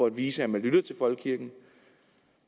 at vise at man lytter til folkekirken